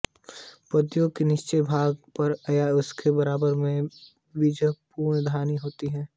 पत्तियों के निचले भाग पर या उसके बराबर में बीजाणुधानी होती थी